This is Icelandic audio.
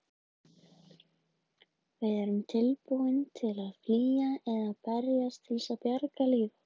Við erum tilbúin til að flýja eða berjast til að bjarga lífi okkar.